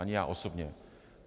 Ani já osobně.